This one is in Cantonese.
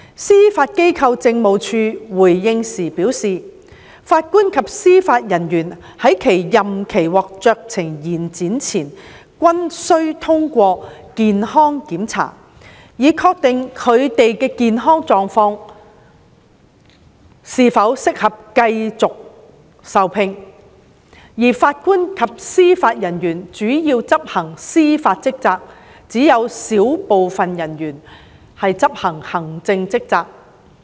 司法機構政務處回應時表示，法官及司法人員在其任期獲酌情延展前均須通過健康檢查，以確定他們的健康狀況是否適合繼續受聘，而法官及司法人員主要執行司法職責，只有小部分人員會執行行政職責。